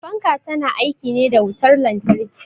Fanka ta na aiki ne da wutar lantarki.